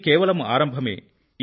ఇది కేవలం ఆరంభమే